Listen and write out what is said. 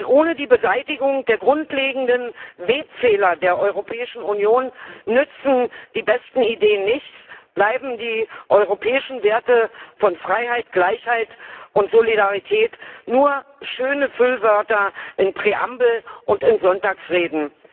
Denn ohne die Beseitigung der grundlegenden Webfehler der Europäischen Union nützen die besten Ideen nichts, bleiben die europäischen Werte von Freiheit, Gleichheit und Solidarität nur schöne Füllwörter in Präambeln und in Sonntagsreden.